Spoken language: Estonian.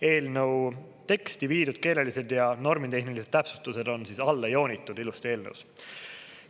Eelnõu teksti viidud keelelised ja normitehnilised täpsustused on siis alla joonitud ilusti eelnõus.